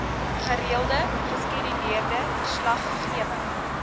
gereelde geskeduleerde verslaggewing